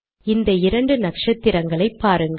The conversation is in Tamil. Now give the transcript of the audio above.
இந்த இரண்டு நக்ஷத்திரங்களை பாருங்கள்